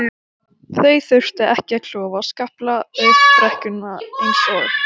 Þann þumbaralega lunda, Martein Einarsson, tel ég ekki með!